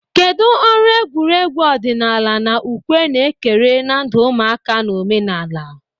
Kedu ọrụ egwuregwu ọdịnala na ukwe na-ekere na ndụ ụmụaka na omenala?